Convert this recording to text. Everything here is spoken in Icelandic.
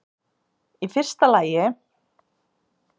Í fyrsta lagi.